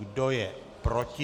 Kdo je proti?